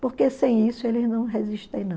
Porque sem isso eles não resistem, não.